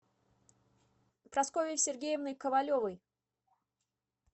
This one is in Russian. прасковьей сергеевной ковалевой